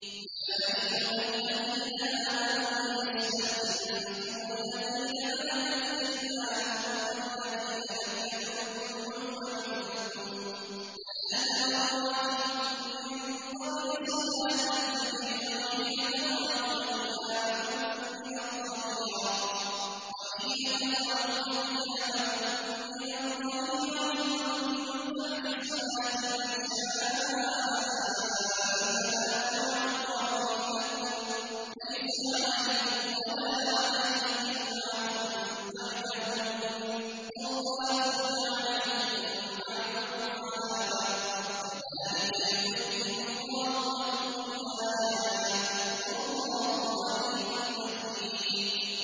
يَا أَيُّهَا الَّذِينَ آمَنُوا لِيَسْتَأْذِنكُمُ الَّذِينَ مَلَكَتْ أَيْمَانُكُمْ وَالَّذِينَ لَمْ يَبْلُغُوا الْحُلُمَ مِنكُمْ ثَلَاثَ مَرَّاتٍ ۚ مِّن قَبْلِ صَلَاةِ الْفَجْرِ وَحِينَ تَضَعُونَ ثِيَابَكُم مِّنَ الظَّهِيرَةِ وَمِن بَعْدِ صَلَاةِ الْعِشَاءِ ۚ ثَلَاثُ عَوْرَاتٍ لَّكُمْ ۚ لَيْسَ عَلَيْكُمْ وَلَا عَلَيْهِمْ جُنَاحٌ بَعْدَهُنَّ ۚ طَوَّافُونَ عَلَيْكُم بَعْضُكُمْ عَلَىٰ بَعْضٍ ۚ كَذَٰلِكَ يُبَيِّنُ اللَّهُ لَكُمُ الْآيَاتِ ۗ وَاللَّهُ عَلِيمٌ حَكِيمٌ